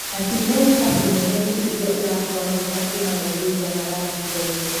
Na ti merikabu nene tu iria ĩrakua maguta kuuma Ningeria na Ghana ciraiywo.